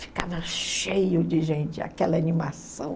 Ficava cheio de gente, aquela animação.